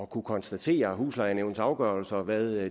kunne konstatere huslejenævnenes afgørelser og hvad